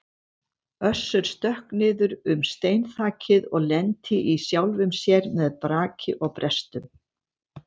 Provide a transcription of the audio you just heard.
Össur stökk niður um steinþakið og lenti í sjálfum sér með braki og brestum.